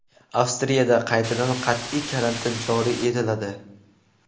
Avstriyada qaytadan qat’iy karantin joriy etiladi.